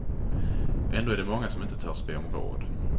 Ändå är det många som inte törs be om råd.